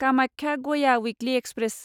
Kamakhya Gaya weekly express